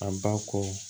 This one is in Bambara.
A ba kɔ